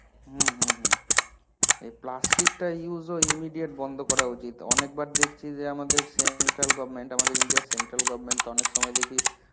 হম হম হম, এই plastic টা use immediate বন্ধ করা উচিত. অনেকবার দেখছি যে আমাদের central govtment আমাদের india র central govtment তো অনেকসময় দেখি